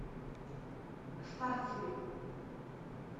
старцеве